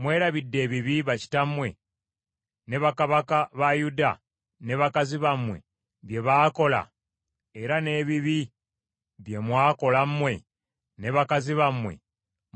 Mwerabidde ebibi bakitammwe ne bakabaka ba Yuda ne bakazi bammwe bye baakola era n’ebibi bye mwakola mmwe ne bakazi bammwe